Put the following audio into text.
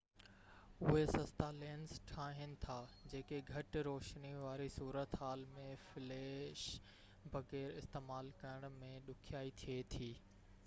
اهي سستا لينس ٺاهين ٿا جيڪي گهٽ روشني واري صورتحال ۾ فليش بغير استعمال ڪرڻ ۾ ڏکيائي ٿئي ٿي